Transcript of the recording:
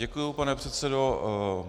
Děkuji, pane předsedo.